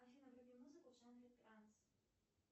афина вруби музыку в жанре транс